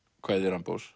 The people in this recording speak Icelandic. kvæði